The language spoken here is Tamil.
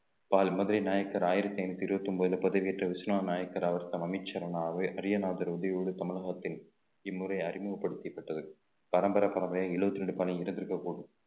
பால் மதுரை நாயக்கர் ஆயிரத்தி ஐந்நூத்தி இருபத்தி ஒன்பதுல பதவி ஏற்ற விஸ்வநாத நாயக்கர் அவர் அரியநாதர் உதவியோடு தமிழகத்தின் இம்முறை அறிமுகப்படுத்தப்பட்டது பரம்பரை பரம்பரையா எழுபத்தி இரண்டு பணி இருந்திருக்கப் போகுது